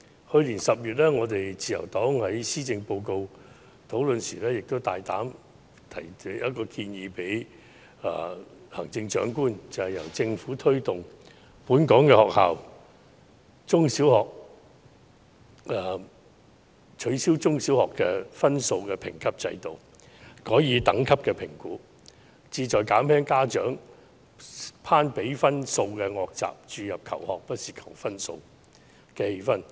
去年10月，自由黨在施政報告討論時，大膽向行政長官提出一項建議，便是由政府推動本港學校取消中小學的分數評級制度，改以等級評估，旨在減輕家長攀比分數的惡習，從而注入"求學不是求分數"的氛圍。